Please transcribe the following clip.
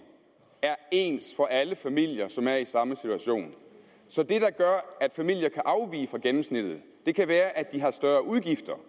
er ens for alle familier som er i samme situation så det der gør at familier kan afvige fra gennemsnittet kan være at de har større udgifter